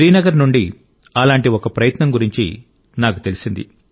శ్రీనగర్ నుండి అలాంటి ఒక ప్రయత్నం గురించి నాకు తెలిసింది